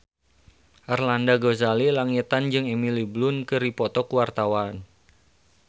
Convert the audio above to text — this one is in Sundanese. Arlanda Ghazali Langitan jeung Emily Blunt keur dipoto ku wartawan